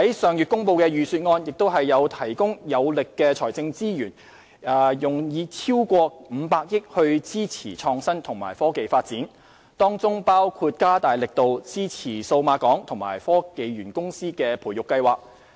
上月公布的預算案提供有力的財政資源，以超過500億元支持創新及科技發展，當中包括加大力度支持數碼港及科技園公司的培育計劃。